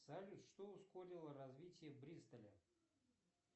салют что ускорило развитие бристоля